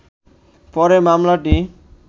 পরে মামলাটি